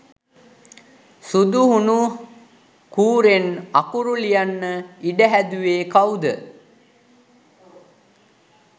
සුදු හුණු කූරෙන් අකුරු ලියන්න ඉඩ හැදුවේ කව්ද?